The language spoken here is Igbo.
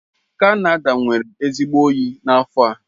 Canada nwere ezigbo oyi n'afọ a.